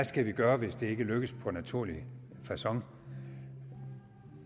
skal gøre hvis det ikke lykkes på naturlig facon